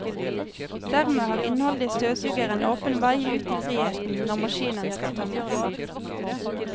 Dermed har innholdet i støvsugeren åpen vei ut i friheten når maskinen skal tømmes.